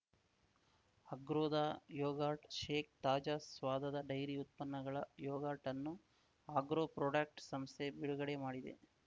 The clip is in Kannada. ಆಗ್ರೋದ ಯೊಗರ್ಟ್‌ ಶೇಕ್‌ ತಾಜಾ ಸ್ವಾದದ ಡೈರಿ ಉತ್ಪನ್ನಗಳ ಯೊಗಾರ್ಟ್‌ ಅನ್ನು ಆಗ್ರೋ ಪ್ರೊಡಕ್ಟ್ ಸಂಸ್ಥೆ ಬಿಡುಗಡೆಮಾಡಿದೆ